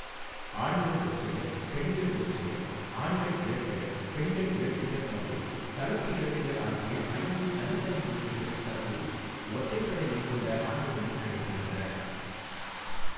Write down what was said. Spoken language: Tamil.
ஆண்கள் ஒற்றையர், பெண்கள் ஒற்றையர், ஆண்கள் இரட்டையர், பெண்கள் இரட்டையர் மற்றும் கலப்பு இரட்டையர் ஆகிய ஐந்து தனித்தனி போட்டிகள் தற்போது ஒற்றைப் படை எண் கொண்ட ஆண்டுகளில் நடைபெறுகின்றன.